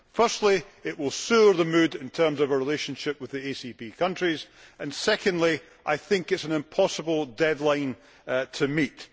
Firstly it will sour the mood in terms of our relationship with the ACP countries and secondly I think it is an impossible deadline to meet.